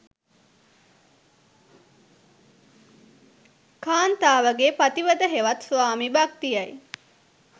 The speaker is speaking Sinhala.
කාන්තාවගේ පතිවත හෙවත් ස්වාමි භක්තිය යි